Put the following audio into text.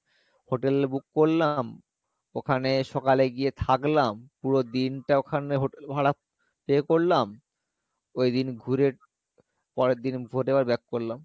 hotel book করলাম, ওখানে সকালে গিয়ে থাকলাম পুরো দিনটা ওখানে hotel ভাড়া pay করলাম ওই দিন ঘুরে পরের দিন back করলাম